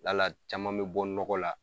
La la caman bɛ bɔ nɔgɔɔ la.